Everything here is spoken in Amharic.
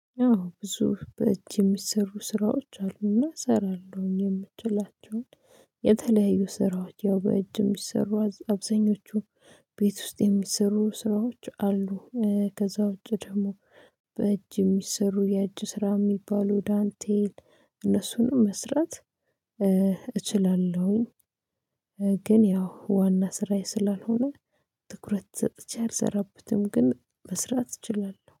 አዎ ብዙ በእጅ የሚሰሩ ስራዎች አሉና እሰራለሁኝ የምችላቸውን የተለያዩ ስራዎች ያው በእጅ የሚሰሩ አብዛኞቹ ቤት ውስጥ የሚሰሩ ስራዎች አሉ። ከዛ ውጪ ደግሞ በእጅ የሚሰሩ የእጅ ስራ የሚባሉ ዳንቴል እነሱንም መስራት እችላለሁኝ። ግን ያው ዋና ስራዬ ስላልሆነ ትኩረት ሰጥቼ አልሰራበትም። ግን መስራት እችላለሁ